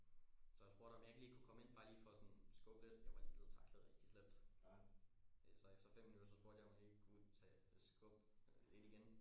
Så jeg spurgte om jeg ikke lige kunne komme ind bare lige for sådan skubbe lidt jeg var lige blevet tacklet rigtig slemt så øh efter 5 minutter så spurgte jeg om jeg ikke lige kunne tage skubbe lidt igen